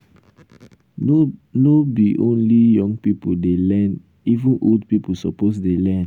no no be only young pipo dey learn even old pipo suppose dey learn.